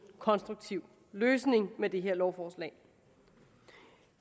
konstruktiv løsning i med det her lovforslag